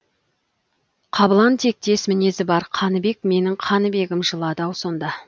қабылан тектес мінезі бар қаныбек менің қаныбегім жылады ау сонда